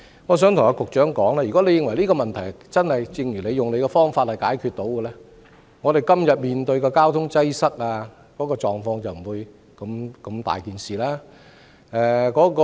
我想告訴局長，如果這個問題真的能夠以他所說的方法解決，我們今天面對的交通擠塞狀況便不會如此嚴重。